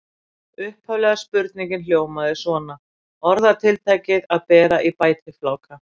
Upphaflega spurningin hljómaði svona: Orðatiltækið að bera í bætifláka.